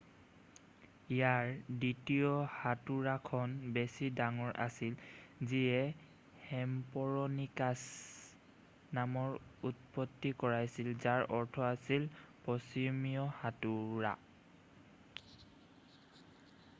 "ইয়াৰ দ্বিতীয় হাতোৰাখন বেছি ডাঙৰ আছিল যিয়ে হেষ্পৰণিকাচ নামৰ উৎপত্তি কৰাইছিল যাৰ অৰ্থ আছিল "পশ্চিমীয়া হাতোৰা""।""